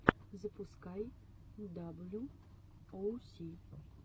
запускай даблю оу си